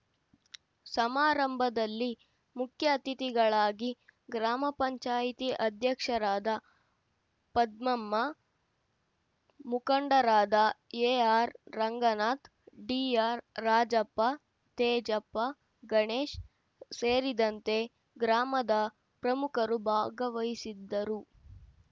ಸಮಾರಂಭದಲ್ಲಿ ಮುಖ್ಯ ಅತಿಥಿಗಳಾಗಿ ಗ್ರಾಮ ಪಂಚಾಯಿತಿ ಅಧ್ಯಕ್ಷರಾದ ಪದ್ದಮ್ಮ ಮುಖಂಡರಾದ ಎಆರ್‌ ರಂಗನಾಥ್‌ ಡಿಆರ್‌ ರಾಜಪ್ಪ ತೇಜಪ್ಪ ಗಣೇಶ್‌ ಸೇರಿದಂತೆ ಗ್ರಾಮದ ಪ್ರಮುಖರು ಭಾಗವಹಿಸಿದ್ದರು